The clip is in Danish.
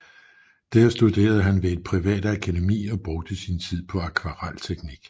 Der studerede han ved et privat akademi og brugte sin tid på akvarelteknik